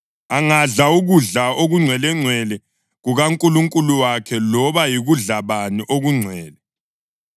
Angadla ukudla okungcwelengcwele kukaNkulunkulu wakhe loba yikudla bani okungcwele;